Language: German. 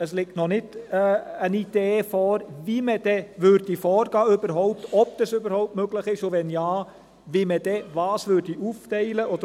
Es liegt noch keine Idee vor, wie man dann vorgehen würde, ob das überhaupt möglich ist, und wenn ja, wie man dann was aufteilen würde.